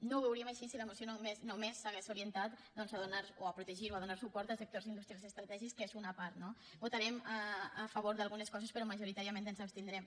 no ho veuríem així si la moció només s’hagués orientat doncs a protegir o a donar suport a sectors industrials estratègics que és una part no votarem a favor d’algunes coses però majoritàriament ens abstindrem